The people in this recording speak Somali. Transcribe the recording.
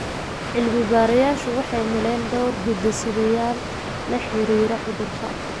Cilmi-baarayaashu waxay heleen dhowr hidde-sideyaal xiriir la leh cudurka Parkinson.